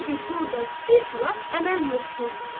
Çünki burda bir xilaf əməl yoxdur.